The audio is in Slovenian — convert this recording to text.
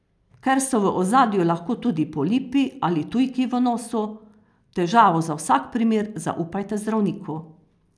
Ker so v ozadju lahko tudi polipi ali tujki v nosu, težavo za vsak primer zaupajte zdravniku.